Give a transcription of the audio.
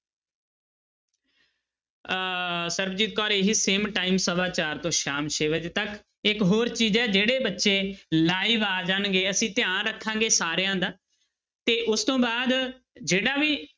ਅਹ ਸਰਬਜੀਤ ਕੌਰ ਇਹੀ same time ਸਵਾ ਚਾਰ ਤੋਂ ਸ਼ਾਮ ਛੇ ਵਜੇ ਤੱਕ ਇੱਕ ਹੋਰ ਚੀਜ਼ ਹੈ ਜਿਹੜੇ ਬੱਚੇ live ਆ ਜਾਣਗੇ ਅਸੀਂ ਧਿਆਨ ਰੱਖਾਂਗੇ ਸਾਰਿਆਂ ਦਾ ਤੇ ਉਸ ਤੋਂ ਬਾਅਦ ਜਿਹੜਾ ਵੀ,